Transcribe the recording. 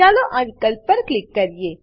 ચાલો આ વિકલ્પ પર ક્લિક કરીએ